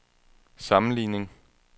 sammenligning